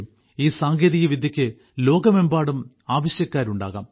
ഈ സാങ്കേതികവിദ്യക്ക് ലോകമെമ്പാടും ആവശ്യക്കാരുണ്ടാകാം